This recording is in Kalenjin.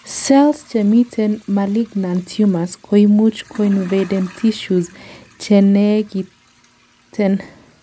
cells chemiten malignant tumors koimuch koinvaden tissues chenekiten